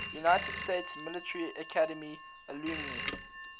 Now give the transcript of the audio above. united states military academy alumni